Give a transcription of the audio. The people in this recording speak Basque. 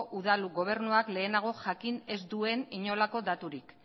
udal gobernuak lehenago jakin ez duen inolako daturik